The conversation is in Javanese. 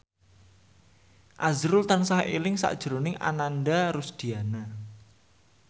azrul tansah eling sakjroning Ananda Rusdiana